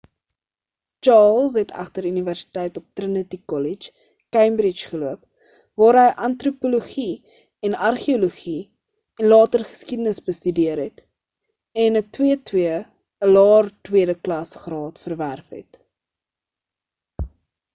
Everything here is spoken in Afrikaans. charles het egter universiteit op trinity kollege cambridge geloop waar hy antropologie en argeologie en later geskiedenis bestudeer het en ‘n 2:2 ‘n laer tweede klas graad verwerf het